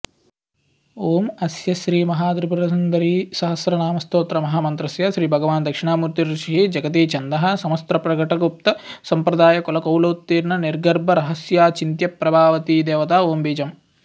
ॐ अस्य श्रीमहात्रिपुरसुन्दरीसहस्रनामस्तोत्रमन्त्रस्य श्रीभगवान्दक्षिणामूर्त्तिरृषिः जगतीच्छन्दः समस्तप्रकटगुप्तसम्प्रदायकुलकौलोत्तीर्णनिर्गर्भरहस्याचिन्त्यप्रभा वती देवता ॐबीजम्